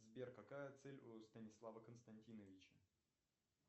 сбер какая цель у станислава константиновича